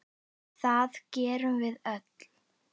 Það gerum við öll.